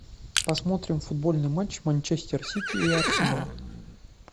посмотрим футбольный матч манчестер сити и арсенал